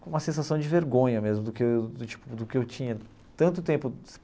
com uma sensação de vergonha mesmo, do que do tipo do que eu tinha tanto tempo.